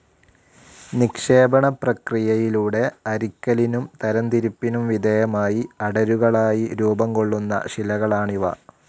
നിക്ഷേപണപ്രക്രിയയിലൂടെ അരിക്കലിനും തരംതിരിപ്പിനും വിധേയമായി അടരുകളായി രൂപം കൊള്ളുന്ന ശിലകളാണിവ.